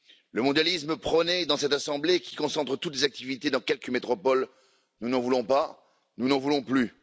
Le mondialisme prôné dans cette assemblée, qui concentre toutes ses activités dans quelques métropoles, nous n'en voulons pas, nous n'en voulons plus.